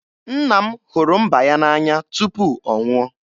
Nna m hụrụ mba ya n'anya tupu ọ nwụọ.